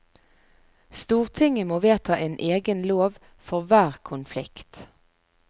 Stortinget må vedta en egen lov for hver konflikt.